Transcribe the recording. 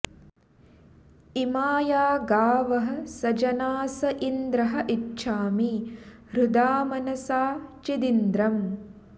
इमा या गावः स जनास इन्द्र इच्छामि हृदा मनसा चिदिन्द्रम्